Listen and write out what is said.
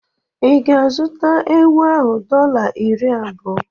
Ị ga-azụta ewu ahụ dọla iri abụọ?